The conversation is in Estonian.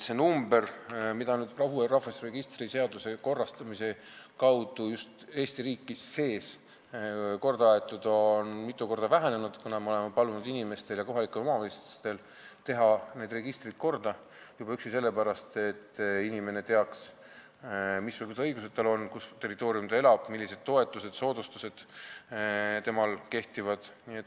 See number, mida on ka uue rahvastikuregistri seaduse abil just Eesti riigi sees korrigeeritud, on mitu korda vähenenud, kuna me oleme palunud inimestel ja kohalikel omavalitsustel need registrid korda teha, juba üksi sellepärast, et inimene teaks, millise omavalitsuse territooriumil ta elab, missugused õigused tal on ning millised toetused ja soodustused tema kohta kehtivad.